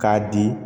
K'a di